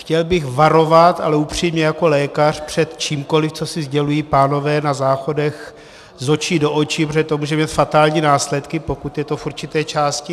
Chtěl bych varovat, ale upřímně, jako lékař, před čímkoli, co si sdělují pánové na záchodech z očí do očí, protože to může mít fatální následky, pokud je to v určité části.